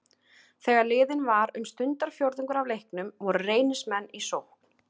Þegar liðinn var um stundarfjórðungur af leiknum voru Reynismenn í sókn.